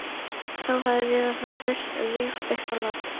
Þá hefði Viðar farið burt og ég upp á loft